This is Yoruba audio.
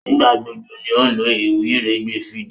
Nigbagbogbo ní o lo iwiregbe fídíò.